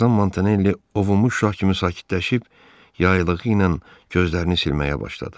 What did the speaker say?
Bir azdan Montanelli ovuş Şah kimi sakitləşib, yaylığı ilə gözlərini silməyə başladı.